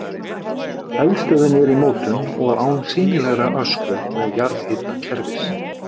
Eldstöðin er í mótun og án sýnilegrar öskju og jarðhitakerfis.